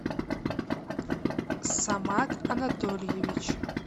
самат анатольевич